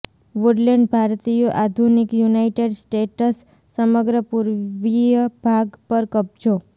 Woodland ભારતીયો આધુનિક United States સમગ્ર પૂર્વીય ભાગ પર કબજો